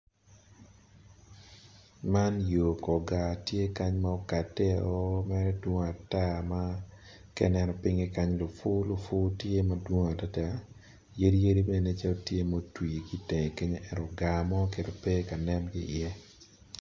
Man yo kor gaar ma tye ma odwalle. Ka ineno pinye tye ma lupu tye madwong yadi bene tye ki i tenge kunyu ento gaar pe iye.